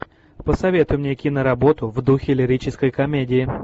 посоветуй мне киноработу в духе лирической комедии